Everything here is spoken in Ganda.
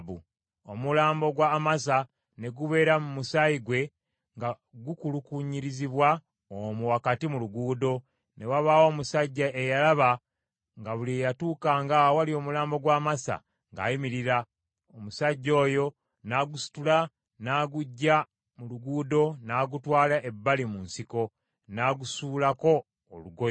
Omulambo gwa Amasa ne gubeera mu musaayi gwe nga gukulukunyirizibwa omwo wakati mu luguudo. Ne wabaawo omusajja eyalaba nga buli eyatuukanga awali omulambo gwa Amasa ng’ayimirira; omusajja oyo n’agusitula n’aguggya mu luguudo n’agutwala ebbali mu nsiko, n’agusuulako olugoye.